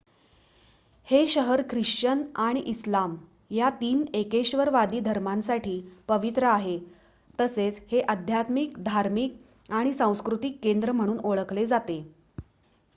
हे शहर ख्रिश्चन आणि इस्लाम या 3 एकेश्वरवादी धर्मांसाठी पवित्र आहे तसेच हे आध्यात्मिक धार्मिक आणि सांस्कृतिक केंद्र म्हणून ओळखले जाते